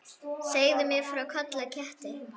Segðu mér frá Kolla ketti.